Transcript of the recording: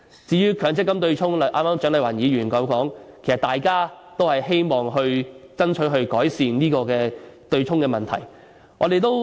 至於強積金對沖方面，蔣麗芸議員剛才也說過，其實大家都希望爭取改善對沖的問題。